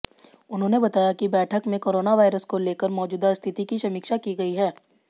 उन्होंने बताया कि बैठक में कोरोनावायरस को लेकर मौजूदा स्थिति की समीक्षा की गई